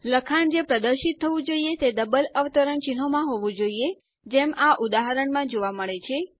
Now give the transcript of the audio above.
લખાણ જે પ્રદર્શિત થવું જોઈએ તે ડબલ અવતરણચિહ્નોમાં હોવું જરૂરી છે જેમ ઉદાહરણમાં જોવા મળે છે